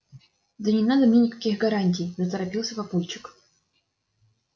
да не надо мне никаких гарантий заторопился папульчик